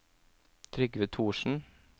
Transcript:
Trygve Thoresen